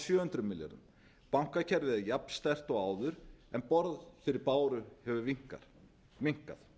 sjö hundruð milljarða bankakerfið er jafn sterkt og áður en borð fyrir báru hefur minnkað